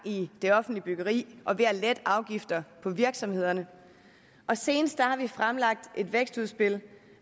i det offentlige byggeri og ved at lette afgifter på virksomhederne og senest har vi fremlagt et vækstudspil